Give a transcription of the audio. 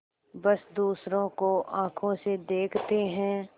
बस दूसरों को आँखों से देखते हैं